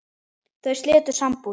Þau slitu sambúð.